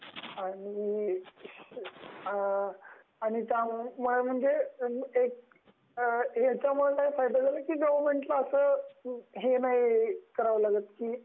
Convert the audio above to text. याच्यामुळे काय फायदा झाला की गवर्नमेंटला अस हे नाही कराव लागत की